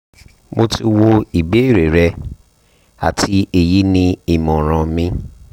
mo ti wo ìbéèrè rẹ àti èyí ni ìmọ̀ràn mi